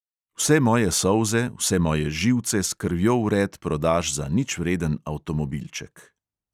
Vse moje solze, vse moje živce s krvjo vred prodaš za ničvreden avtomobilček.